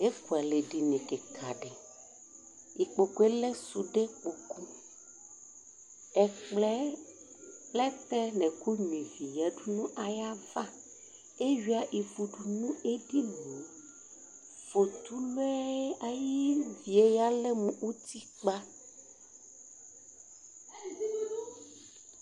Ekʋɛlɛ dini kika di ikpokʋ yɛlɛ sʋde kpokʋ Ɛkplɔ yɛ plɛtɛ nʋ ɔkʋni yadʋ nʋ ayʋ ava ewia ivu fotulu yɛ ayʋ ivi yalɛ mʋ utikpa